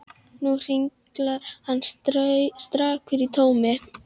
Nú hringlar hann stakur í tómi.